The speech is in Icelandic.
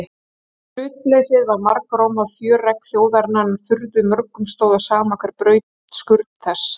Hlutleysið var margrómað fjöregg þjóðarinnar en furðu mörgum stóð á sama hver braut skurn þess.